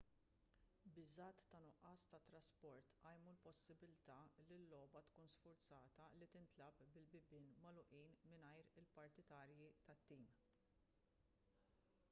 biżgħat ta' nuqqas ta' trasport qajmu l-possibbiltà li l-logħba tkun sfurzata li tintlagħab bil-bibien magħluqin mingħajr il-partitarji tat-tim